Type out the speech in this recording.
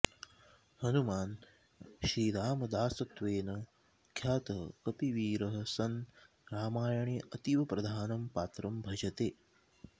हनूमान् श्रीरामदासत्वेन ख्यातः कपिवीरः सन् रामायणे अतीव प्रधानं पात्रं भजते